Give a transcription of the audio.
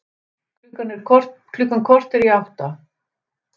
Klukkan korter í átta